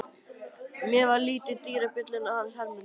Mér varð litið á dyrabjölluna hans Hermundar.